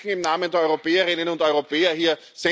Wir sprechen im Namen der Europäerinnen und Europäer hier.